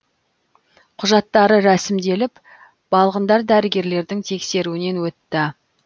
құжаттары рәсімделіп балғындар дәрігерлердің тексеруінен өтті